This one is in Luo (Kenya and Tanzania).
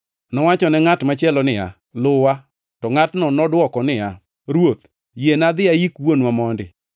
Nowachone ngʼat machielo niya, “Luwa.” To ngʼatno nodwoko niya, “Ruoth, yiena adhi ayik wuonwa mondi.”